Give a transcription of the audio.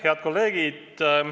Head kolleegid!